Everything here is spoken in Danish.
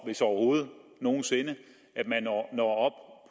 hvis overhovedet nogen sinde at man når